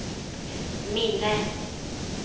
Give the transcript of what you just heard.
minne